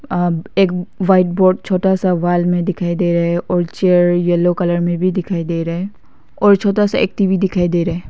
अ एक white board छोटा सा वॉल में दिखाई दे रहा है और चेयर येलो कलर में भी दिखाई दे रहा है और छोटा सा एक टी_वी दिखाई दे रहा है।